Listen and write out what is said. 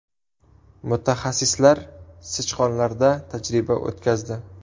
Mutaxassislar sichqonlarda tajriba o‘tkazdi.